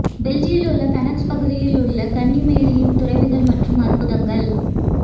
பெல்ஜியிலுள்ள Banneux பகுதியில் உள்ள கன்னி மேரியின் துறவிகள் மற்றும் அற்புதங்கள்